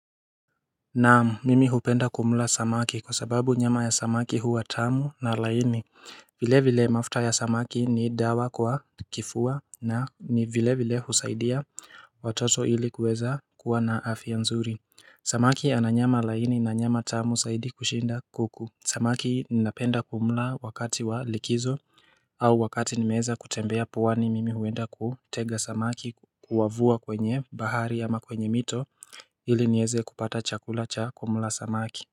Naam mimi hupenda kumla samaki kwa sababu nyama ya samaki huwa tamu na laini vile vile mafuta ya samaki ni dawa kwa kifua na ni vile vile husaidia watoto ili kuweza kuwa na afya nzuri Samaki ana nyama laini na nyama tamu saidi kushinda kuku Samaki ninapenda kumula wakati wa likizo au wakati nimeeza kutembea puwani mimi huenda kutega samaki kuwavua kwenye bahari ama kwenye mito ili nieze kupata chakula cha kumula samaki.